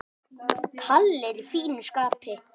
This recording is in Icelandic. Kalli er í fínu skapi.